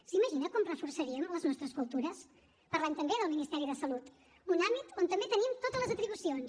s’imagina com reforçaríem les nostres cultures parlem també del ministeri de salut un àmbit on també tenim totes les atribucions